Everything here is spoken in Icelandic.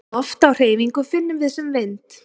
Loft á hreyfingu finnum við sem vind.